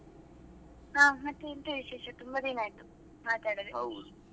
ಹಾ ಮತ್ತೆ ಎಂತ ವಿಶೇಷ ತುಂಬಾ ದಿನ ಆಯ್ತು ಮಾತಾಡದೆ?